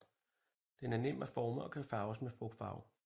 Den er nem at forme og kan farves med frugtfarve